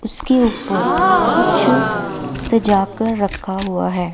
उसके ऊपर कुछ सजा कर रखा हुआ है।